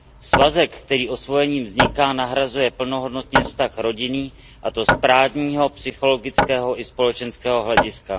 Svazek, který osvojením vzniká, nahrazuje plnohodnotně vztah rodinný a to z právního, psychologického i společenského hlediska.